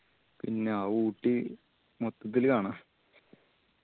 പിന്ന ഊട്ടി മൊത്തത്തില് കാണാ